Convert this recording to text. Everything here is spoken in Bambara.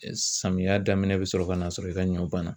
Samiya daminɛn bɛ sɔrɔ ka n'a sɔrɔ i ka ɲɔ banna.